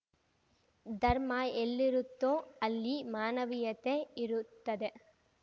ಧರ್ಮ ಎಲ್ಲಿರುತ್ತೋ ಅಲ್ಲಿ ಮಾನವೀಯತೆ ಇರುತ್ತದೆ